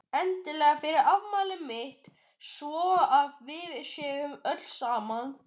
Endilega fyrir afmælið mitt svo að við séum öll saman.